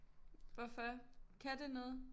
Hvorfor kan det noget